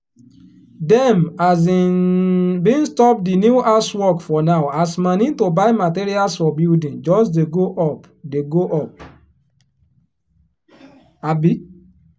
dem um bin stop di new house work for now as moni to buy materials for building just dey go up dey go up. um